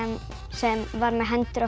sem var með hendur